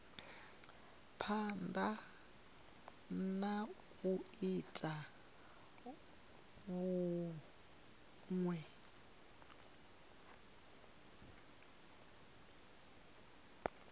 phanda na u ita vhunwe